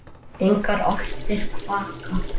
Engar álftir kvaka.